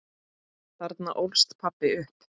Þarna ólst pabbi upp.